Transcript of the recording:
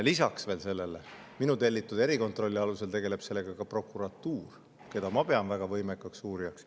Lisaks, minu tellitud erikontrolli alusel tegeleb sellega ka prokuratuur, keda ma pean väga võimekaks uurijaks.